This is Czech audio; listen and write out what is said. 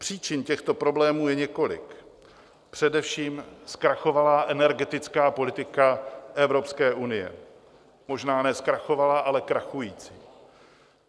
Příčin těchto problémů je několik, především zkrachovalá energetická politika Evropské unie - možná ne zkrachovalá, ale krachující.